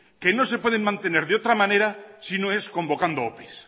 que no se pueden mantener de otra manera si no es convocando opes